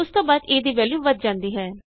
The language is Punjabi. ਉਸ ਤੋਂ ਬਾਅਦ a ਦੀ ਵੈਲਯੂ ਵਧ ਜਾਂਦੀ ਹੈ